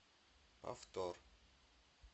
повтор